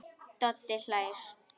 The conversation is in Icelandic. Doddi hlær.